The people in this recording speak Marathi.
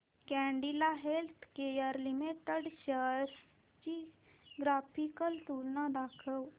कॅडीला हेल्थकेयर लिमिटेड शेअर्स ची ग्राफिकल तुलना दाखव